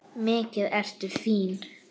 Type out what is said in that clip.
Mikið ertu fín!